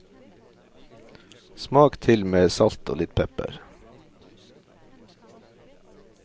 Smak til med salt og litt pepper.